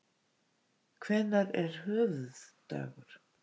Hvenær er höfuðdagur?